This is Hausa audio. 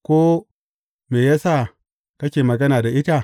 Ko Me ya sa kake magana da ita?